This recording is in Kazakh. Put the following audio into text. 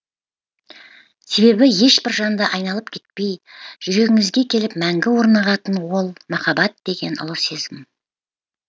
себебі ешбір жанды айналып кетпей жүрегіңізге келіп мәңгі орнығатын ол махаббат деген ұлы сезім